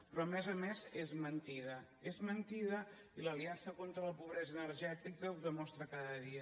però a més a més és mentida és mentida i l’aliança contra la pobresa energètica ho demostra cada dia